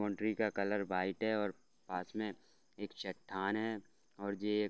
boundary का colour white हैऔर पास में एक चट्टान है और जे --